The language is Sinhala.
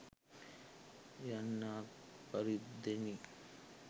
යන්නාක් පරිද්දෙනි.